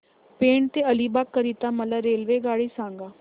पेण ते अलिबाग करीता मला रेल्वेगाडी सांगा